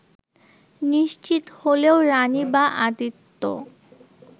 নিশ্চিত হলেও রানি বা আদিত্য